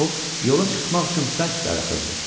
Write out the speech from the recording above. O yola çıxmaq üçün bərk darıxırdı.